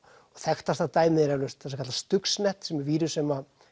þekktasta dæmið er eflaust það sem kallast stuxnet sem er vírus sem